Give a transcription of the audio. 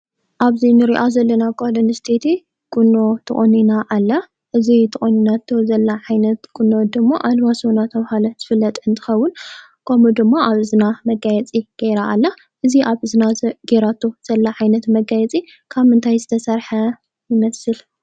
ኣብዚ እንሪኣ ዘለና ጓል ኣነስተይቲ ቁኖ ተቆኒና ኣላ። እዚ ተቆኒናቶ ዘላ ዓይነት ቁናኖ ድማ ኣለባሶ እንዳተባሃለ ዝፍለጥ እንትከውን ፤ከምኡ ድማ ኣብ እዝና መጋየፂ ገይራ ኣላ። እዚ ኣብ እዝና ገይራቶ ዘላ ዓይነት መጋየፂ ካብ ምንታይ ዝተሰረሐ ይመስል?